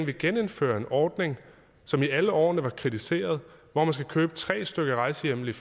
vil genindføre en ordning som i alle årene blev kritiseret hvor man skal købe tre stykker rejsehjemmel